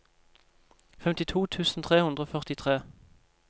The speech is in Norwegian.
femtito tusen tre hundre og førtitre